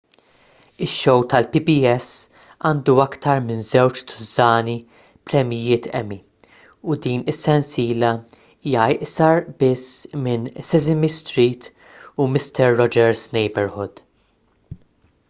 ix-show tal-pbs għandu aktar minn żewġ tużżani premjijiet emmy u din is-sensiela hija iqsar biss minn sesame street u mister rogers' neighborhood